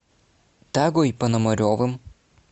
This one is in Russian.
тагой пономаревым